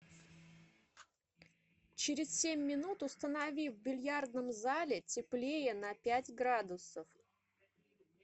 через семь минут установи в бильярдном зале теплее на пять градусов